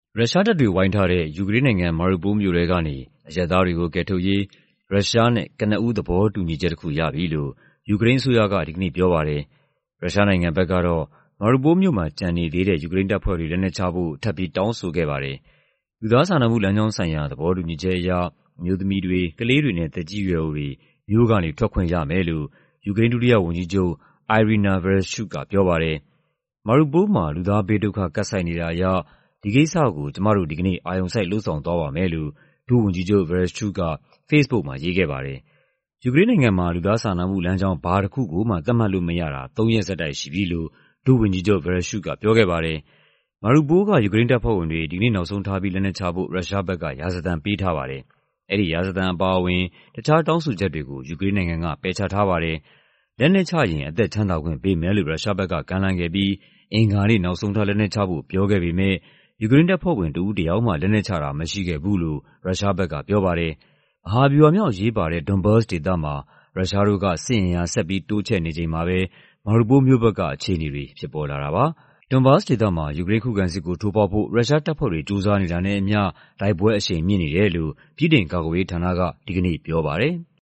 ရုရှားတပ်တွေဝိုင်းထားတဲ့ ယူကရိန်းနိုင်ငံ၊ Mariupol မြို့ထဲကနေ အရပ်သားတွေကို ကယ်ထုတ်ရေး ရုရှားနဲ့ကနဦးသဘောတူညီချက်တခုရပြီလို့ ယူကရိန်းအစိုးရက ဒီကနေ့ပြောပါတယ်။ ရုရှားနိုင်ငံဘက်ကတော့ Mariupol မြို့မှာ ကျန်နေသေးတဲ့ ယူကရိန်းတပ်ဖွဲ့တွေ လက်နက်ချဖို့ ထပ်ပြီး တောင်းဆိုခဲ့ပါတယ်။ လူသားစာနာမှုလမ်းကြောင်းဆိုင်ရာ သဘောတူညီချက်အရ အမျိုးသမီးတွေ၊ ကလေးတွေနဲ့ သက်ကြီးရွယ်အိုတွေ မြို့ကနေ ထွက်ခွင့်ရမယ်လို့ ယူကရိန်း ဒုတိယ ဝန်ကြီးချုပ် Iryna Vereshchuk ကပြောပါတယ်။ "Mariupol မှာ လူသားဘေးဒုက္ခ ကပ်ဆိုက်နေတာအရ ဒီကိစ္စကို ကျမတို့ ဒီကနေ့ အာရုံစိုက် လုပ်ဆောင်သွားပါမယ်" လို့ ဒုဝန်ကြီးချုပ် Vereshchuk က ဖေ့စ်ဘုတ်မှာ ရေးခဲ့ပါတယ်။ ယူကရိန်းနိုင်ငံမှာ လူသားစာနာမှုလမ်းကြောင်း ဘာတခုကိုမှ သတ်မှတ်လို့မရတာ သုံးရက်ဆက်တိုက်ရှိပြီလို့ ဒုဝန်ကြီးချုပ် Vereshchuk ကပြောခဲ့ပါတယ်။ Mariupol က ယူကရိန်းတပ်ဖွဲ့ဝင်တွေ ဒီကနေ့နောက်ဆုံးထားပြီး လက်နက်ချဖို့ ရုရှားဘက်က ရာဇသံပေးထားပါတယ်။ အဲဒီရာဇသံအပါအဝင် တခြားတောင်းဆိုချက်တွေကို ယူကရိန်းနိုင်ငံက ပယ်ချထားပါတယ်။ လက်နက်ချရင် အသက်ချမ်းသာခွင့်ပေးမယ်လို့ ရုရှားဘက်က ကမ်းလှမ်းခဲ့ပြီး အင်္ဂါနေ့ နောက်ဆုံးထား လက်နက်ချဖို့ ပြောခဲ့ပေမယ့် ယူကရိန်းတပ်ဖွဲ့ဝင် တဦးတယောက်မှ လက်နက်ချတာ မရှိခဲ့ဘူးလို့ ရုရှားဘက်ကပြောပါတယ်။ မဟာဗျူဟာမြောက် အရေးပါတဲ့ Donbas ဒေသမှာ ရုရှားတို့က စစ်အင်အား ဆက်ပြီးတိုးချဲ့နေချိန်မှာပဲ Mariupol မြို့ဘက်ကအခြေအနေတွေ ဖြစ်ပေါ်လာတာပါ။ Donbas ဒေသမှာ ယူကရိန်း ခုခံစစ်ကို ထိုးဖောက်ဖို့ ရုရှားတပ်ဖွဲ့တွေ ကြိုးစားနေတာနဲ့အမျှ တိုက်ပွဲအရှိန်မြင့်နေတယ်လို့ ဗြိတိန်ကာကွယ်ရေးဌာနက ဒီကနေ့ပြောပါတယ်။